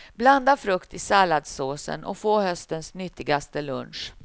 Blanda frukt i salladssåsen och få höstens nyttigaste lunch.